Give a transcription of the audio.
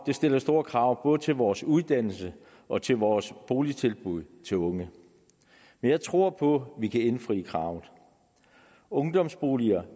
stiller store krav både til vores uddannelse og til vores boligtilbud til unge men jeg tror på vi kan indfri kravene ungdomsboliger